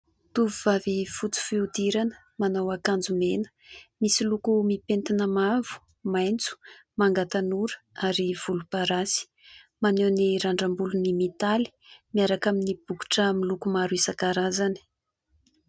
Tovovavy fotsy fihodirana manao akanjo mena, misy loko mipentina mavo, maitso, manga tanora ary volomparasy ; maneho ny randram-bolony mitaly miaraka amin'ny bokotra miloko maro isankarazany.